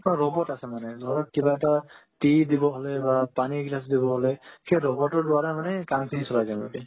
robot আছে মানে লগত কিবা এটা tea দিব হলে বা পানি glass দিব হ'লে সেই robot ৰ দ্বাৰা মানে কাম খিনি চলাই যাই সিহতি